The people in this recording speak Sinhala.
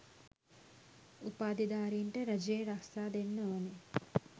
උපාධිධාරීන්ට රජයේ රස්සා දෙන්න ඕන